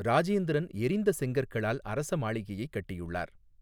ராஜேந்திரன் எரிந்த செங்கற்களால் அரச மாளிகையை கட்டியுள்ளார்.